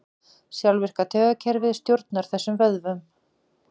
Sjálfvirka taugakerfið stjórnar þessum vöðvum.